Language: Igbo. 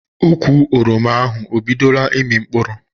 Ụkwụ oroma ahụ ọ bidoro ịmi mkpụrụ?